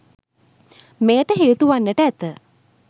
මෙයට හේතුවන්නට ඇත.